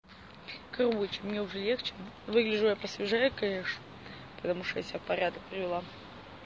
короче мне уже легче выгляжу я по свежее конечно потому что я себя в порядок привела